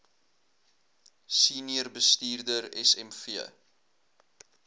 senior bestuurder smv